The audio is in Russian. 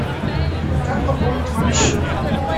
как пополнить маме счет